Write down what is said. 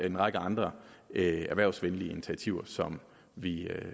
en række andre erhvervsvenlige initiativer som vi